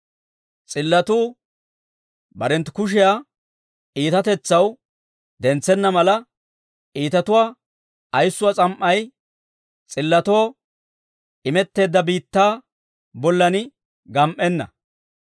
S'illotuu barenttu kushshiyaa iitatetsaw dentsenna mala, iitatuwaa ayissuwaa s'am"ay, s'illotoo imetteedda biittaa bollan gam"enna.